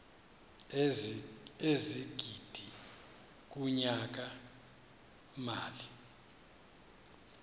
ezigidi kunyaka mali